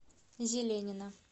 зеленина